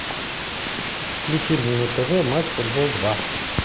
включи мне на тв матч футбол два